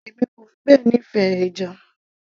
èmi kò fi bẹ́ẹ̀ nífẹ̀ẹ́ ẹja